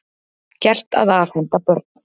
Gert að afhenda börn